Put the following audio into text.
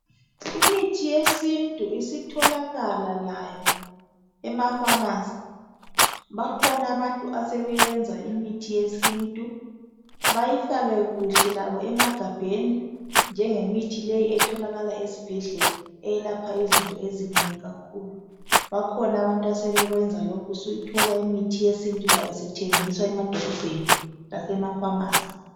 Imithi yesintu isitholakala layo emapharmacy. Bakhona abantu asebeyenza imithi yesintu. Bayifake kuhle labo emagabheni, njengemithi leyi etholakala ezibhedlela. Eyelapha izinto ezinengi kakhulu. Bakhona abantu asebekwenza lokhu. Usuyithola imithi yesintu layo isithengiswa emadolobheni, lasemapharmacy.